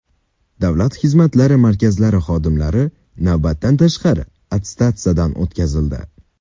Davlat xizmatlari markazlari xodimlari navbatdan tashqari attestatsiyadan o‘tkazildi.